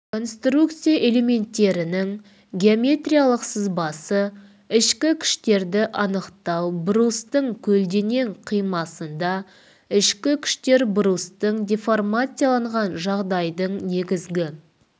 конструкция элементтерінің геометриялық сызбасы ішкі күштерді анықтау брустың көлденең қимасында ішкі күштер брустың деформацияланған жағдайдың негізгі